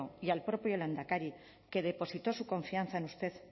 y al propio lehendakari que depositó su confianza en usted